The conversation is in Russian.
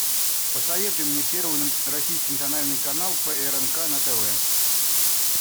посоветуй мне первый российский национальный канал прнк на тв